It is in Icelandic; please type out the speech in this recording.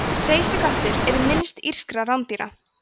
hreysiköttur er minnst írskra rándýra